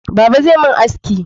Baba zai mun haski